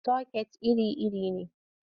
Soket iri-iri ne.